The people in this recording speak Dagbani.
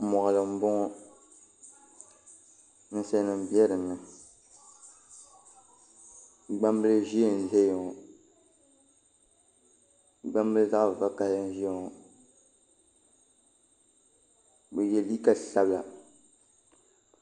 Moɣali n bɔŋɔ ninsali nima bɛ dinni gbaŋ bili zɛɛ n zɛya ŋɔ gbaŋ bili zaɣi vakahali n ziya bi ye liika sabila.